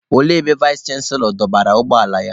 Olee ebe Vais chanselọ dọbara ụgbọ ala ya?